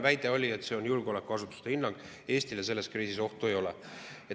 Väide oli, et julgeolekuasutuste hinnang on, et Eestile selles kriisis ohtu ei ole.